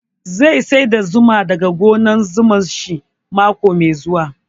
Zai sayar da zuma da ga gonar zuman shi mako mai zuwa